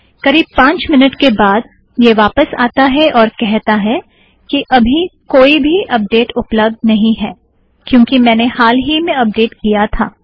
करीब पाँच मिनट के बाद यह वापस आता है और कहता है कि अबी कोई भी अपडेट्स उपलब्द नहीं हैं कयोंकि मैंने हाल ही में अपडेट किया था